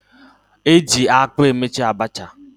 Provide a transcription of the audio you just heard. Eji akpụ emeta Abacha